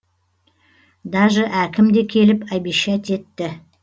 даже әкім де келіп обещать етті